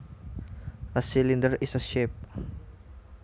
A cylinder is a shape